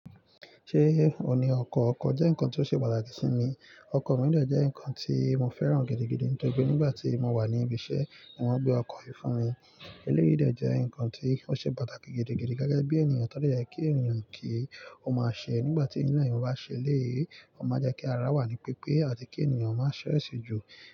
Ṣé ò ní ọkọ̀? Ọkọ̀ jẹ́ nǹkan tó ṣe pàtàkì sí mi. Ọkọ̀ mìí de jẹ́ nǹkan tí mo fẹ́ràn gidigidi nítorí pé nígbà tí mo wà ní ibi iṣẹ́, wọ́n gbé ọkọ̀ yìí fún mi. Eléyi de jẹ́ nǹkan tí ó ṣe pàtàkì gidigidi gege bí ènìyàn tọ́ dáàjì kí ènìyàn kí ó máa ṣe. Nígbà tí inú ènìyàn bá ṣe léèé, ó máa jẹ́ kí ara wà ní pípé àti kí ènìyàn máa ṣẹ́ aseju.